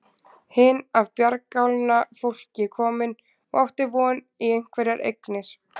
Hin af bjargálna fólki komin og átti von í einhverjar eignir.